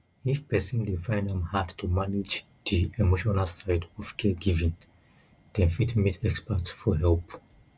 if person dey find am hard to manage di emotional side of caregiving dem fit meet expert for help